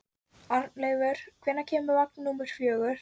Arnleifur, hvenær kemur vagn númer fjögur?